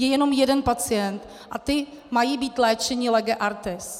Je jenom jeden pacient a ti mají být léčeni lege artis.